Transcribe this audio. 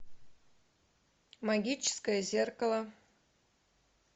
магическое зеркало